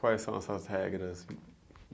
Quais são essas regras?